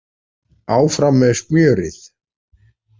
Áfram með smjörið